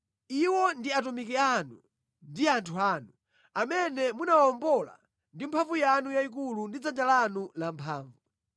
“Iwo ndi atumiki anu ndi anthu anu, amene munawawombola ndi mphamvu yanu yayikulu ndi dzanja lanu lamphamvu.